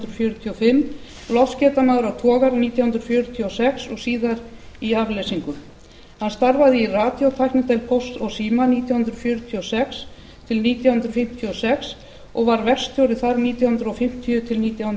fjörutíu og fimm loftskeytamaður á togara nítján hundruð fjörutíu og sex og síðar í afleysingum hann starfaði í radíótæknideild pósts og síma nítján hundruð fjörutíu og sex til nítján hundruð fimmtíu og sex og var verkstjóri þar nítján hundruð fimmtíu til nítján